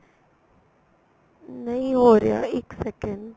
ਨਹੀਂ ਹੋ ਰਿਹਾ ਇੱਕ second